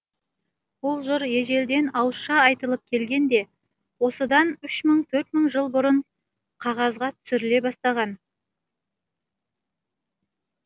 бұл жыр ежелден ауызша айтылып келген де осыдан үш мың төрт мың жыл бұрын қағазға түсіріле бастаған